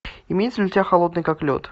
имеется ли у тебя холодный как лед